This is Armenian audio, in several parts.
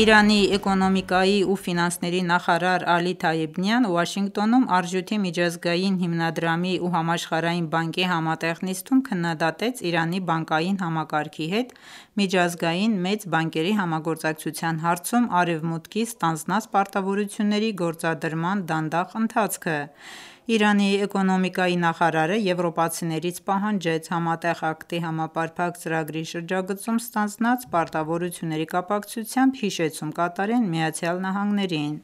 Իրանի էկոնոմիկայի ու ֆինանսների նախարար Ալի Թայեբ Նիան Վաշինգտոնում՝ Արժույթի միջազգային հիմնադրամի ու Համաշխարհային բանկի համատեղ նիստում քննադատեց Իրանի բանկային համակարգի հետ միջազգային մեծ բանկերի համագործակցության հարցում արևմուտքի ստանձնած պարտավորությունների գործադրման դանդաղ ընթացքը: Իրանի էկոնոմիկայի նախարարը եվրոպացիներից պահանջեց Համատեղ քայլերի համապարփակ ծրագրի շրջագծում ստանձնած պարտավորությունների կապակցությամբ հիշեցում կատարեն ԱՄՆ-ին: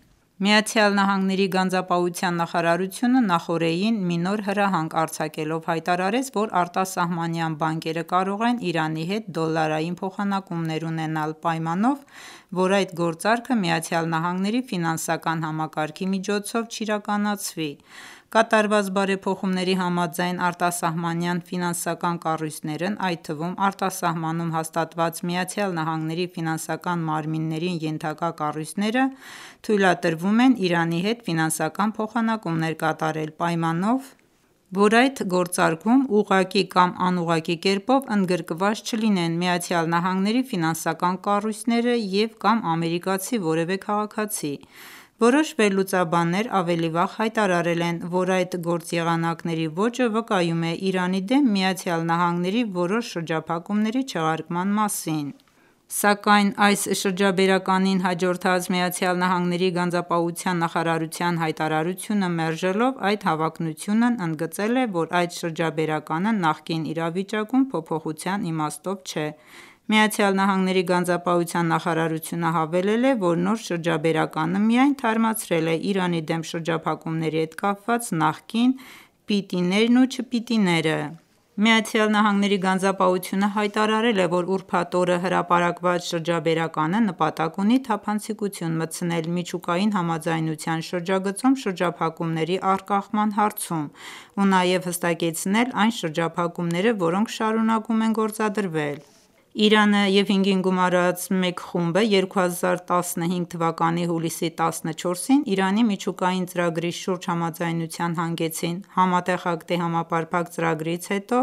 ԱՄՆ-ի գանձապահության նախարարությունը նախօրեին մի նոր հրահանգ արձակելով հայտարարեց, որ արտասահմանյան բանկերը կարող են Իրանի հետ դոլարային փախանակումներ ունենալ պայմանով, որ այդ գործարքն ԱՄՆ-ի ֆինանսական համակարգի միջոցով չիրկանացվի: Կատարված բարեփոխումների համաձայն արտասահմանյան ֆինանսական կառույցներն, այդ թվում արտասահմանում հաստատված ԱՄՆ-ի ֆինանսական մարմիններին ենթակա կառույցները թույլատրվում են Իրանի հետ ֆինանսական փոխանակումներ կատարել, պայմանով, որ այդ գործարքում ուղղակի կամ անուղղակի կերպով ընդգրկված չլինեն ԱՄՆ-ի ֆինանսական կառույցները և կամ ամերիկացի որևէ քաղաքացի: Որոշ վերլուծաբաններ ավելի վաղ հայտարարել են, որ այդ գործեղանակների ոճը վկայում է Իրանի դեմ ԱՄՆ-ի որոշ շրջափակումների չեղարկման մասին: Սակայն այս շրջաբերականին հաջորդած ԱՄՆ-ի գանձապահության նախարարության հայտարարությունը մերժելով այդ հավակնությունն, ընդգծել է, որ այդ շրջաբերականը նախկին իրավիճակում փոփոխության իմաստով չէ: ԱՄՆ-ի գանձապահության նախարարությունը հավելել է, որ նոր շրջաբերականը միայն թարմացրել է Իրանի դեմ շրջափակումների հետ կապված նախկին «պիտի»-ներն ու «չպիտի»-ները: ԱՄՆ-ի գանձապահությունը հայտարարել է, որ ուրբաթ օրը հրապարակված շրջաբերականը նպատակ ունի թափանցիկություն մտցնել միջուկային համաձայնության շրջածում շրաջափակումների առկախման հարցում ու նաև հստակեցնել այն շրջափակումները, որոնք շարունակում են գործադրվել: Իրանն ու 5+1 խումբը 2015 թվականի հուլիսի 14-ին Իրանի միջուկային ծրագրի շուրջ համաձայնության հանգեցին: Համատեղ քայլերի համապարփակ ծրագրից հետո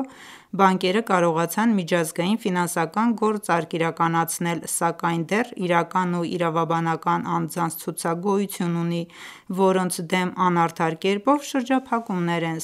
բանկերը կարողացան միջազգային ֆինանսական գործարք իրականացնել, սակայն դեռ իրական ու իրավաբանական անձանց ցուցակ գոյություն ունի, որոնց դեմ անարդար կերպով շրջափակումներ են